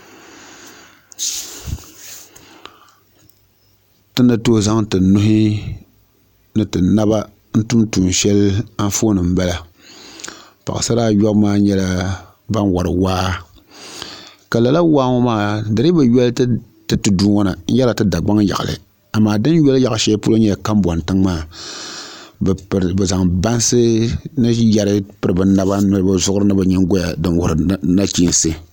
Ti ni tooi zaŋ ti nuhi ni ti naba n tun tuun shɛli anfooni n bala paɣasara ayobu maa nyɛla ban wori waa ka lala waa ŋɔ maa di dii bi yɔli ti tudu ŋɔ na n yɛrila ti dagbaŋ yaɣali amaa din yɔli yaɣa shɛli nyɛla kanbɔŋ tiŋ maa bi zaŋ yɛri piri bi naba ni ni bi nyingoya n wuhuri nachiinsi